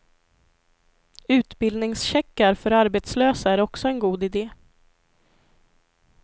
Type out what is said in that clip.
Utbildningscheckar för arbetslösa är också en god ide.